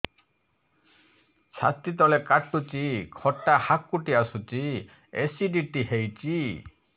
ଛାତି ତଳେ କାଟୁଚି ଖଟା ହାକୁଟି ଆସୁଚି ଏସିଡିଟି ହେଇଚି